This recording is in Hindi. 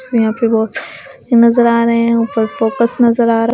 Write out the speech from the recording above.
इसमें यहां पे बहुत नजर आ रहे हैं ऊपर पोकस नजर आ रहा--